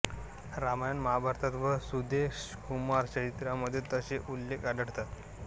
रामायण महाभारत व सुदेशकुमार चरित्रामध्ये तसे उल्लेख आढळतात